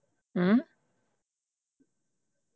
ਹਮ